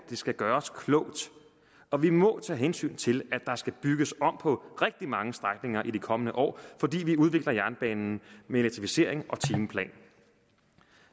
det skal gøres klogt og vi må tage hensyn til at der skal bygges om på rigtig mange strækninger i de kommende år fordi vi udvikler jernbanen med elektrificering og timeplan